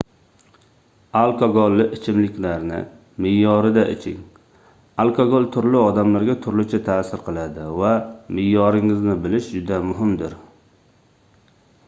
alkogolli ichimliklarni meʼyorida iching alkogol turli odamlarga turlicha taʼsir qiladi va meʼyoringizni bilish juda muhimdir